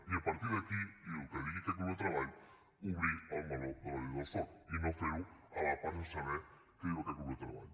i a partir d’aquí i el que digui aquest grup de treball obrir el meló de la llei del soc i no fer ho a part sense saber què diu aquest grup de treball